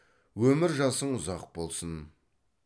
өмір жасың ұзақ болсын